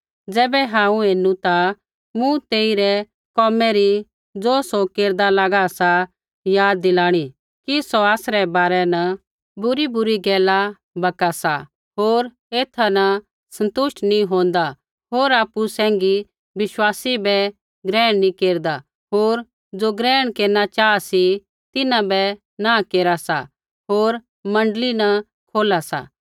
ज़ैबै हांऊँ ऐनु ता मूँ तेइरै कोमै री ज़ो सौ केरदा लागा सा याद दिलाणी कि सौ आसरै बारै न बुरीबुरी गैला बका सा होर एथा न सन्तुष्ट नी होंदा होर आपु सैंघी विश्वासी बै ग्रहण नी केरदा होर ज़ो ग्रहण केरना चाहा सी तिन्हां बै नाँह केरा सा होर मण्डली न खोला सा